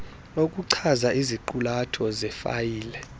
okuchaza iziqulatho zefayile